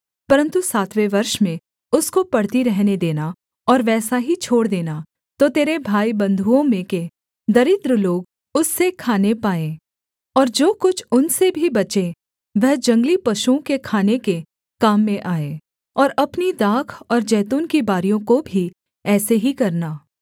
परन्तु सातवें वर्ष में उसको पड़ती रहने देना और वैसा ही छोड़ देना तो तेरे भाईबन्धुओं में के दरिद्र लोग उससे खाने पाएँ और जो कुछ उनसे भी बचे वह जंगली पशुओं के खाने के काम में आए और अपनी दाख और जैतून की बारियों को भी ऐसे ही करना